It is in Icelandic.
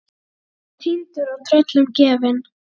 Að vera týndur og tröllum gefin